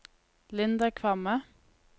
Linda Kvamme